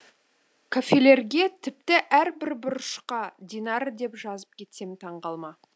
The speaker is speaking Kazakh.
кафелерге тіпті әр бір бұрышқа динара деп жазып кетсем таң қалма